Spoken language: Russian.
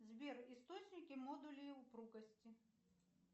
сбер источники модулей упругости